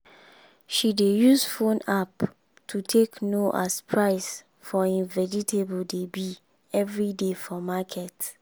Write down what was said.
she dey use phone app to take know as price for im vegetable dey be everyday for market.